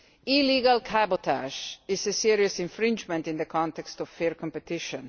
Illegal cabotage is a serious infringement in the context of fair competition.